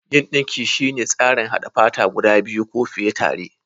Yin dinki shine tsarin haɗa fata guda biyu ko fiye tare.